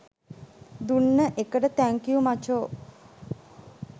දුන්න එකට තැන්ක්යු මචෝ